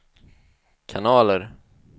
kanaler